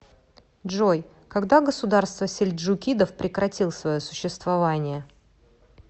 джой когда государство сельджукидов прекратил свое существование